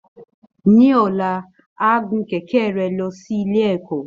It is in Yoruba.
Ní ọ̀la, á gun kẹ̀kẹ́ rẹ̀ lọ sí ilé ẹ̀kọ́